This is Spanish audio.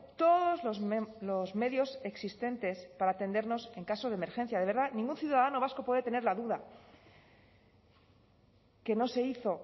todos los medios existentes para atendernos en caso de emergencia de verdad ningún ciudadano vasco puede tener la duda que no se hizo